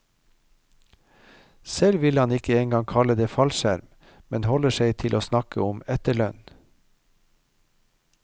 Selv vil han ikke en gang kalle det fallskjerm, men holder seg til å snakke om etterlønn.